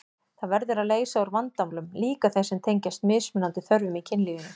Það verður að leysa úr vandamálum, líka þeim sem tengjast mismunandi þörfum í kynlífinu.